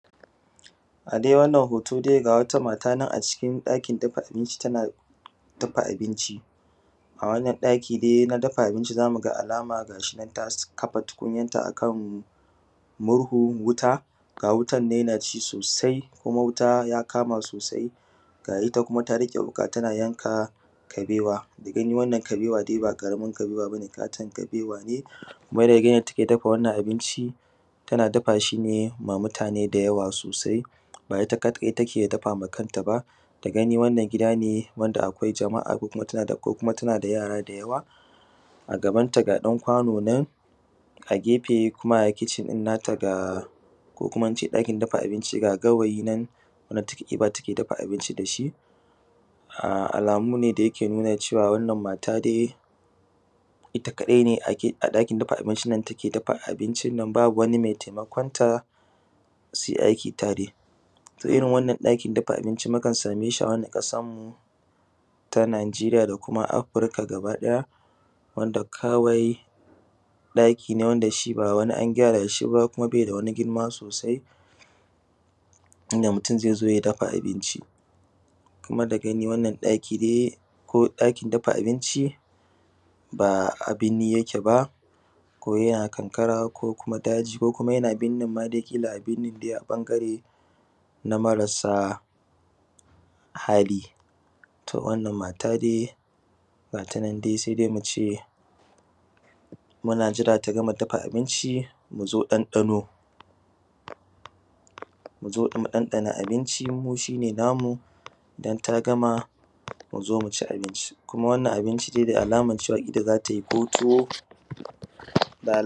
A dai wannan hoto dai ga wata matanan a cikin ɗakin dafa abinci tana dafa abinci. A wannan ɗaki dai na dafa abinci zamuga alama gashinan kafa tukunyan ta akan murhu wuta ga wutannan yanaci sosai kuma wuta ya kama sosai. Ga kuma itta ta riƙe wuka tana yanka kabewa da gani wannan kabewan ba karamin kabewa ne kuma da gani yadda take dafa abincin tana bafashi ne ma mutane da yawa sosai ba itta kaɗai take dafawa kanta ba. Da gani wannan gida ne wanda akwai jama’a ko kuma tanada yara da yawa a gaban ta ga ɗan kwano nan a gefe kuma a kicin ɗin ga ko kuma ince ɗakin dafa abinci ga gawayi nan zata ɗiba ta dafa abinci dashi. Alamu ne da yake nuna cewa wannan mata dai itta kaɗai ne ɗakin dafa abinci take dafa abinnan babu wani mai taimakon ta suyi aiki tare, irrin wannan ɗakin dafa abinci akan sameshi a wannan ƙasan tamu ta najeriya dama afirika baki ɗaya wanda kawai ɗaki bawani an gyarashi ba ɗaki ne kawai inda mutun zaizo ya dafa abinci. ɗaki ko ɗakin dafa abinci ba anan yake ba kodao a karkara kodai a birninma dai da yake yana binnine a ɓangare na marasa hali, to wannan mata dai gatanan dai sai dai muce muna jira tagama dafa abinci muzo ɗan ɗano, muzo tagama bafa abinci mu ɗan ɗano shine namu idan tagama muzo muci abinci kuma wannan abinci dai da alaman cewa itta zatayi ko tuwo.